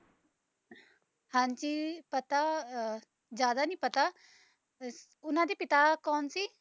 ਹਾਂਜੀ ਪਤਾ ਅ ਜਾਂਦਾ ਨੀ ਪਤਾ ਉਨ੍ਹਾਂ ਦੇ ਪਿਤਾ ਕੌਣ ਸੀ